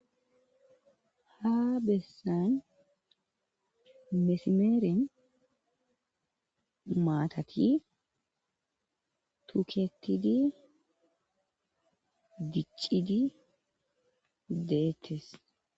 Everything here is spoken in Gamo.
Ha bessan mesimeren maththati tukketidi ,dichidi deettes.